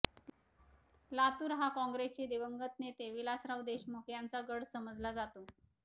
लातूर हा काँग्रेसचे दिवंगत नेते विलासराव देशमुख यांचा गड समजला जातो